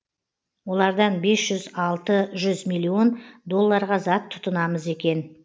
олардан бес жүз алты жүз милллион долларға зат тұтынамыз екен